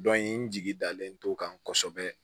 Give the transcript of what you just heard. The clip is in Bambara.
n jigi dalen to kan kosɛbɛ